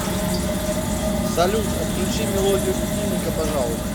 салют отключи мелодию будильника пожалуйста